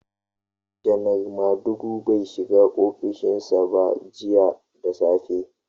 Janar Madugu bai shiga ofishin sa ba jiya da safe.